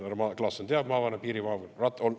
Härra Klaassen teab, maavanem, piiri maavanem.